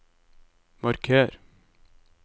marker